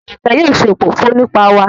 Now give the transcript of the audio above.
Jumoke yóò ṣe òfófó nípa wà